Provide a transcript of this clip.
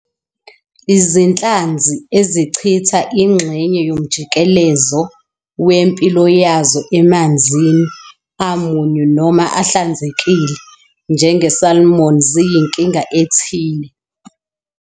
Izinhlanzi ezichitha ingxenye yomjikelezo wempilo yazo emanzini amunyu noma ahlanzekile, njenge-salmon, ziyinkinga ethile.